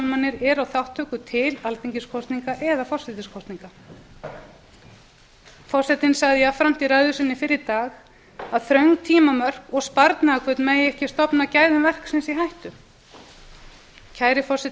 lýðræðistálmanir eru á þátttöku til alþingiskosninga eða forsetakosninga forsetinn sagði jafnframt í ræðu sinni fyrr í dag að þröng tímamörk og sparnaðarhvöt mættu ekki stofna gæðum verksins í hættu kæri forseti